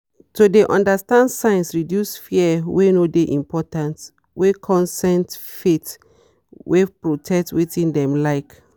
to de understand signs reduce fears wey no dey important wey consent faith wey protect wetin dem like.